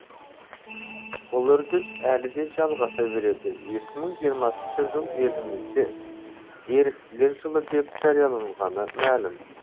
бұл үрдіс әлі де жалғаса береді екі мың жиырмасыншы жыл елімізде еріктілер жылы деп жарияланғаны мәлім